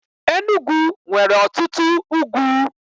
Enugwu nwere ọtụtụ ugwu.